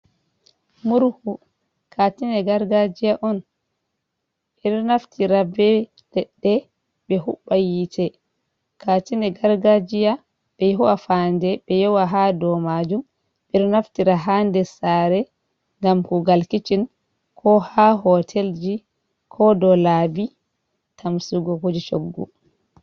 Murhu kaatine gargajia on ɓe ɗo naftira be leɗɗe be hubba yiite, kaatine gargajiya be ho'a fande ɓe yowa ha dou majum, ɓe ɗo naftira ha nder sare ngam kuugal kicin ko haa hotelji ko dou laabi tamsugo kuje choggu.